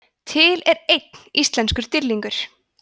til er einn íslenskur dýrlingur